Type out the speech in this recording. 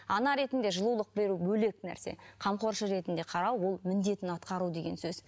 ана ретінде жылулық беру бөлек нәрсе қамқоршы ретінде қарау ол міндетін атқару деген сөз